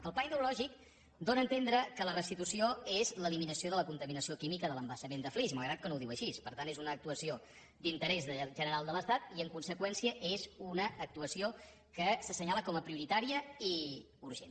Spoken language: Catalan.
el pla hidrològic dóna a entendre que la restitució és l’eliminació de la contaminació química de l’embassament de flix malgrat que no ho diu així per tant és una actuació d’interès general de l’estat i en conseqüència és una actuació que s’assenyala com a prioritària i urgent